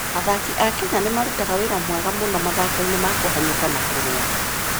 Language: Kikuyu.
Athaki a Kenya nĩ marutaga wĩra mwega mũno mathako-inĩ ma kũhanyũka na kũrũga.